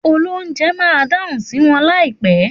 Òlóunjé má dáhun sí wõn laípè